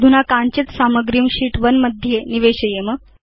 अधुना काञ्चित् सामग्रीं शीत् 1 मध्ये निवेशयेम